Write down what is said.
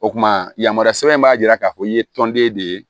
O kumana yamaruya sɛbɛn in b'a jira k'a fɔ i ye tɔnden de ye